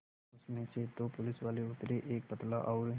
उसमें से दो पुलिसवाले उतरे एक पतला और